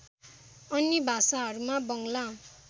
अन्य भाषाहरूमा बङ्ग्ला